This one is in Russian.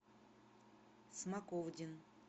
смоковдин